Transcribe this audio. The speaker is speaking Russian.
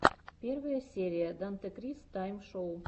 первая серия дантекрис тайм шоу